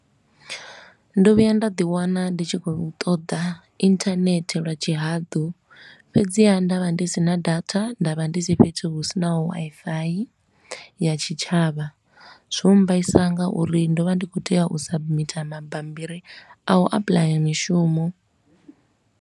Ndo vhuya nda ḓi wana ndi tshi khou ṱoḓa internet lwa tshihaḓu, fhedziha nda vha ndi sina data nda vha ndi si fhethu hu si na Wifi ya tshitshavha. Zwo mmbaisa nga uri ndo vha ndi khou tea u submitter mabammbiri a u applyer mishumo.